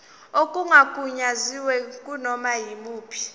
okungagunyaziwe kunoma yimuphi